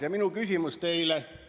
Ja minu küsimus teile.